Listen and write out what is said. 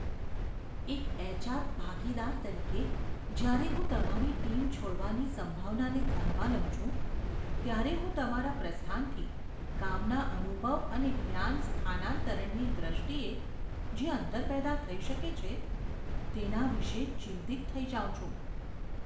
એક એચ.આર. ભાગીદાર તરીકે, જ્યારે હું તમારી ટીમ છોડવાની સંભાવનાને ધ્યાનમાં લઉં છું, ત્યારે હું તમારા પ્રસ્થાનથી કામના અનુભવ અને જ્ઞાન સ્થાનાંતરણની દ્રષ્ટિએ જે અંતર પેદા થઈ શકે છે તેના વિશે ચિંતિત થઈ જાઉં છું.